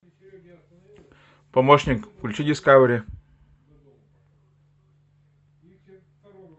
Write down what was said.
помощник включи дискавери